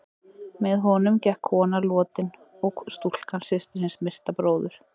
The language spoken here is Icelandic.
Með honum gekk kona lotin og stúlkan, systir hins myrta bróður.